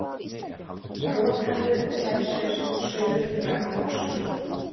Rotaðu selshaus saurugra hugsana!